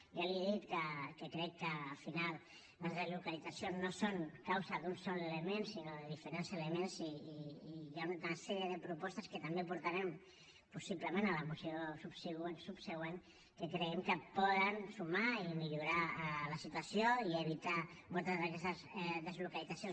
ja li he dit que crec que al final les deslocalitzacions no són causa d’un sol element sinó de diferents elements i hi ha una sèrie de propostes que també portarem possiblement a la moció subsegüent que creiem que poden sumar i millorar la situació i evitar moltes d’aquestes deslocalitzacions